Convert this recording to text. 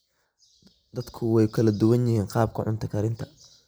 Dadku way kala duwan yihiin qaabka cunto karinta.